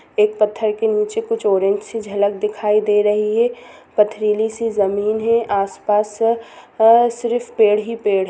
एक पत्थर के नीचे कुछ ऑरेंज -सी झलक दिखाई दे रही है पथरीली- सी जमीन है आसपास अ सिर्फ पेड़ ही पेड़ --